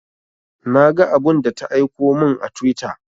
Na ga abun da ta aiko mun a twitter